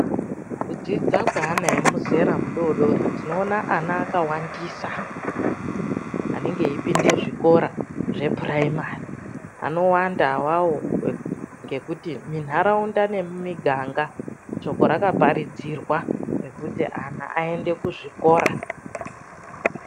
Kudzidza kweana emuzera mudodori tinoona ana akawandisa anenge eipinda zvikora zvepurayimari. Anowanda awawo ngekuti munharaunda nemumuganga shoko rakaparidzirwa rekuti ana aende muzvikora.